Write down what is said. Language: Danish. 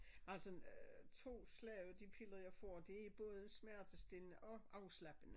Altså sådan øh to slags de piller jeg får det både smertestillende og afslappende